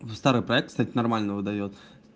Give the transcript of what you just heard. в старый проект кстати нормально выдаёт